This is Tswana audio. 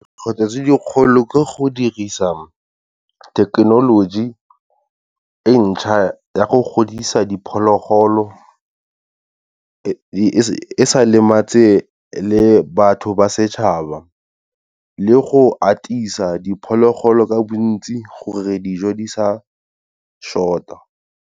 Dikgwetlho tse dikgolo ke go dirisa thekenoloji entšha ya go godisa diphologolo, e sa lematse le batho ba setšhaba, le go atisa diphologolo ka bontsi gore dijo di sa short-a.